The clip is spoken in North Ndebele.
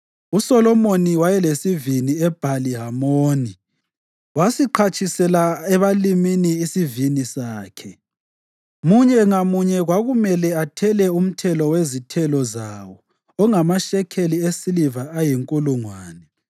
USolomoni wayelesivini eBhali Hamoni; wasiqhatshisela ebalimini isivini sakhe. Munye ngamunye kwakumele athele umthelo wezithelo zawo ongamashekeli esiliva ayinkulungwane.